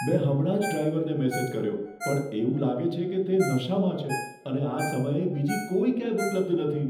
મેં હમણાં જ ડ્રાઈવરને મેસેજ કર્યો પણ એવું લાગે છે કે તે નશામાં છે અને આ સમયે બીજી કોઈ કેબ ઉપલબ્ધ નથી.